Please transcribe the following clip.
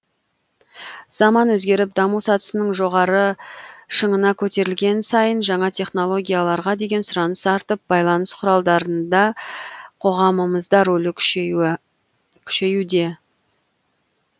заман өзгеріп даму сатысының жоғары шыңына көтерілген сайын жаңа технологияларға деген сұраныс артып байланыс құралдардында қоғамымызда рөлі күшеюде